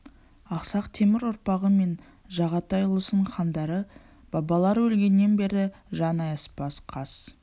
ақсақ темір ұрпағы мен жағатай ұлысының хандары бабалары өлгеннен бері жан аяспас қас